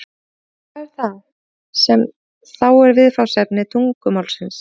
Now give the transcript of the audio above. hvað er það sem þá er viðfangsefni tungumálsins